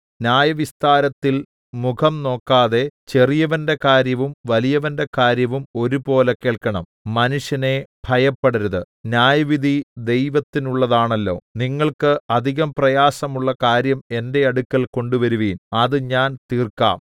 ന്യായവിസ്താരത്തിൽ മുഖം നോക്കാതെ ചെറിയവന്റെ കാര്യവും വലിയവന്റെ കാര്യവും ഒരുപോലെ കേൾക്കണം മനുഷ്യനെ ഭയപ്പെടരുത് ന്യായവിധി ദൈവത്തിനുള്ളതാണല്ലോ നിങ്ങൾക്ക് അധികം പ്രയാസമുള്ള കാര്യം എന്റെ അടുക്കൽ കൊണ്ടുവരുവിൻ അത് ഞാൻ തീർക്കാം